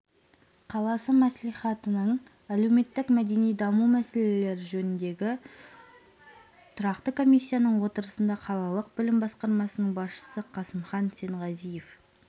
қаласы мәслихатының әлеуметтік-мәдени даму мәселелері жөніндегі тұрақты комиссияның отырысында қалалық білім басқармасының басшысы қасымхан сенғазиев